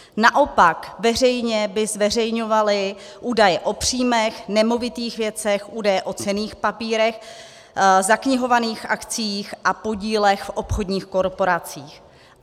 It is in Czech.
Naopak veřejně by zveřejňovali údaje o příjmech, nemovitých věcech, údaje o cenných papírech, zaknihovaných akciích a podílech v obchodních korporacích.